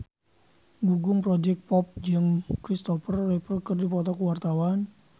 Gugum Project Pop jeung Kristopher Reeve keur dipoto ku wartawan